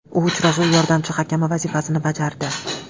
U uchrashuv yordamchi hakami vazifasini bajardi.